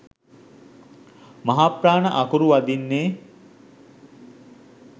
මහාප්‍රාණ අකුරු වදින්නේ